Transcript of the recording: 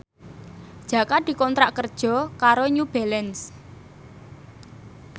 Jaka dikontrak kerja karo New Balance